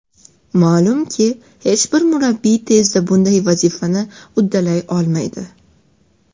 Ma’lumki, hech bir murabbiy tezda bunday vazifani uddalay olmaydi.